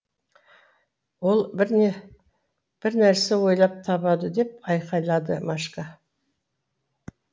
ол бірнәрсе ойлап табады деп айқайлады машка